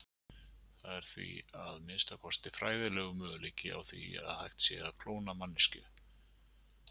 Það er því, að minnsta kosti fræðilegur, möguleiki á því hægt sé að klóna manneskju.